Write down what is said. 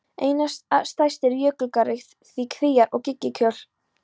Einna stærstir eru jökulgarðar við Kvíár- og Gígjökul.